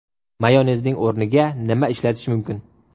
Mayonezning o‘rniga nima ishlatish mumkin?